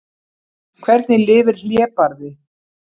Hvernig lifir hlébarði?